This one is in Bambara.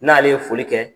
N'ale ye foli kɛ